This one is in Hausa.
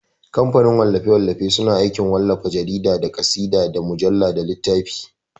Kamfanin wallafe-wallafe suna aikin wallafa jarida, da ƙasida, da mujalla, da littafi.